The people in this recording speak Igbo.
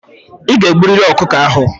I ga-egburịrị ọkụkọ ahụ!